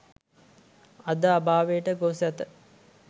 අද අභාවයට ගොස් ඇත.